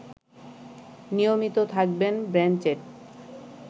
নিয়মিত থাকবেন ব্ল্যানচেট